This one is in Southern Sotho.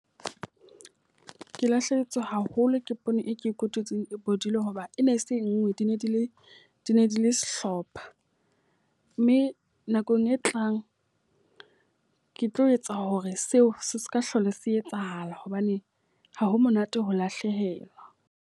Ke lahlehetswe haholo ke poone e ke e kotutseng e bodile. Hoba e ne e se e nngwe di ne di le di ne di le sehlopha. Mme nakong e tlang ke tlo etsa hore seo se ka hlola se etsahala. Hobane ha ho monate ho lahlehelwa.